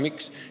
Miks?